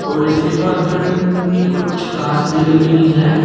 और इसके पास में कुछ घास भी लगी हुई है।